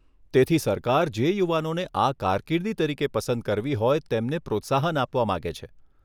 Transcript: તેથી સરકાર જે યુવાનોને આ કારકિર્દી તરીકે પસંદ કરવી હોય તેમને પ્રોત્સાહન આપવા માંગે છે.